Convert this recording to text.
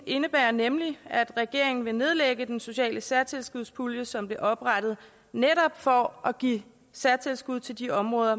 indebærer nemlig at regeringen vil nedlægge den sociale særtilskudspulje som blev oprettet for at give særtilskud til de områder